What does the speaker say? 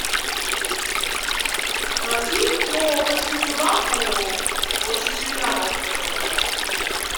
фильм про большую собаку очень слюнявая которая была